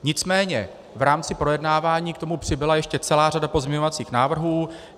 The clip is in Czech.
Nicméně v rámci projednávání k tomu přibyla ještě celá řada pozměňovacích návrhů.